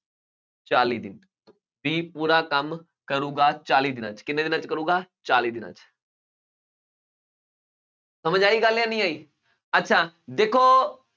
ਚਾਲੀ ਦਿਨ b ਪੂਰਾ ਕੰਮ ਕਰੇਗਾ ਚਾਲੀ ਦਿਨਾਂ 'ਚ ਕਿੰਨੇ ਦਿਨਾਂ 'ਚ ਕਰੇਗਾ, ਚਾਲੀ ਦਿਨਾਂ 'ਚ ਸਮਝ ਆਈ ਗੱਲ ਜਾਂ ਨਹੀਂ ਆਈ, ਅੱਛਾ ਦੇਖੋ